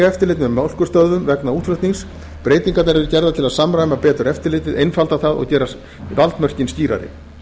eftirlit með mjólkurstöðvum vegna útflutnings breytingar verða gerðar til að samræma betur eftirlitið einfalda það og gera valdmörkin skýrari